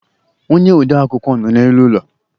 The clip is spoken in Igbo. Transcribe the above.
ónyé ode akwukwọ nọ n' élú ụlọ.